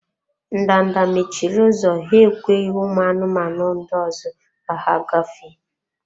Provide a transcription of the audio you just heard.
Ndanda mechiri ụzọ, ha ekweghị ụmụ anụmanụ ndị ọzọ ka ha gafee.